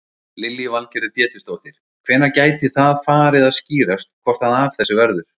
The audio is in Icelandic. Lillý Valgerður Pétursdóttir: Hvenær gæti það farið að skýrast hvort að af þessu verður?